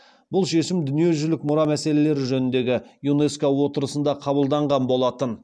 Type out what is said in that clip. бұл шешім дүниежүзілік мұра мәселелері жөніндегі юнеско отырысында қабылданған болатын